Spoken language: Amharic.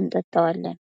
እንጠጣዋለን ።